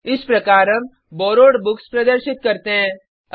इस प्रकार हम बोरोवेड बुक्स प्रदर्शित करते हैं